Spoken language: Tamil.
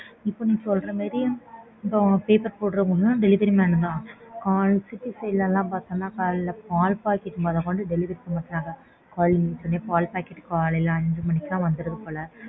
இப்போ நீ சொல்ற மாறி இப்போ paper போட்றவங்களும் delivery man தான். கால் city side ல லாம் காலைல பால் pocket மொத கொண்டு delivery பண்றாங்க. பால் pocket லாம் காலைல அஞ்சு மணிக்கே வந்துரும் போல